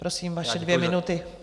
Prosím, vaše dvě minuty.